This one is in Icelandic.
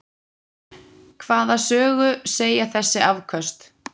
Hvaða sögu segja þessi afköst?